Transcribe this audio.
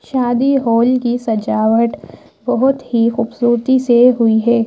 शादी होल की सजावट बहुत ही खूबसूरती से हुई है।